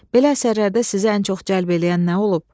Belə əsərlərdə sizi ən çox cəlb eləyən nə olub?